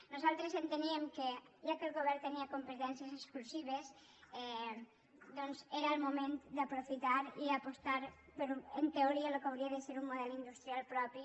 nosaltres enteníem que ja que el govern tenia competències exclusives doncs era el moment d’aprofitar i apostar per en teoria el que hauria de ser un model industrial propi